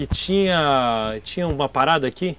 E tinha... tinha uma parada aqui?